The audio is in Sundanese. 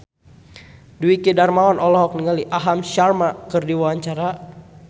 Dwiki Darmawan olohok ningali Aham Sharma keur diwawancara